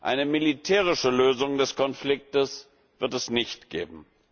Eine militärische Lösung des Konfliktes wird es nicht geben.